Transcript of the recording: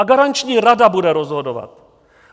A garanční rada bude rozhodovat.